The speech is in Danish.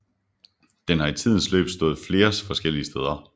Den har i tidens løb stået flere forskellige steder